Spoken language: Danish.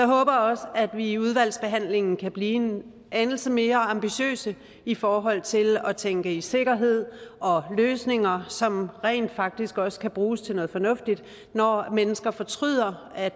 håber også at vi i udvalgsbehandlingen kan blive en anelse mere ambitiøse i forhold til at tænke i sikkerhed og løsninger som rent faktisk også kan bruges til noget fornuftigt når mennesker fortryder at